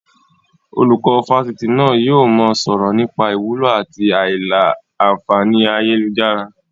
Olùkọ́ Fásitì náà yìí ó mọ sọ̀rọ̀ nípa ìwúlò àti a ìlà-a fàáni ayélujára.